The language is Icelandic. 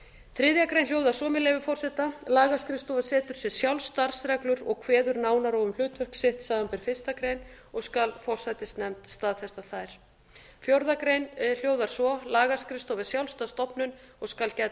þriðju grein hljóðar svo með leyfi forseta lagaskrifstofa setur sér sjálf starfsreglur og kveður nánar á um hlutverk sitt samanber fyrstu grein og skal forsætisnefnd staðfesta þær fjórðu grein hljóðar svo lagaskrifstofa er sjálfstæð stofnun og skal gæta